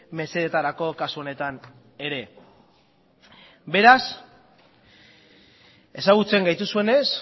mesedetarako kasu honetan ere beraz ezagutzen gaituzuenez